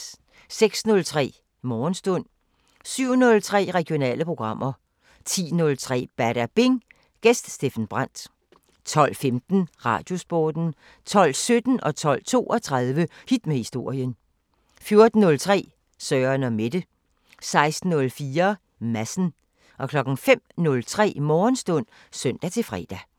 06:03: Morgenstund 07:03: Regionale programmer 10:03: Badabing: Gæst Steffen Brandt 12:15: Radiosporten 12:17: Hit med historien 12:32: Hit med historien 14:03: Søren & Mette 16:04: Madsen 05:03: Morgenstund (søn-fre)